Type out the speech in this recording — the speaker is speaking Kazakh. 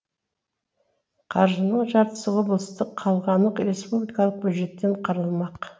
қаржының жартысы облыстық қалғаны республикалық бюджеттен қаралмақ